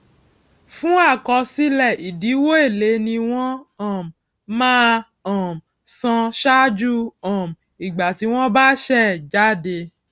fún àkọsílẹ ìdíwó èlé ni wọn um máa um san ṣáájú um ìgbà tí wón bá ṣe é jáde